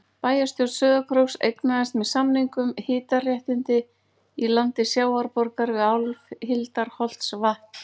Bæjarstjórn Sauðárkróks eignaðist með samningum hitaréttindi í landi Sjávarborgar við Áshildarholtsvatn.